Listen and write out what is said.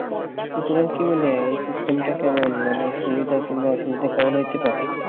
তো তোমার কি মনে হয় এই system টা কেমন মানে সুবিধা কিংবা অসুবিধা কেমন হইতে পারে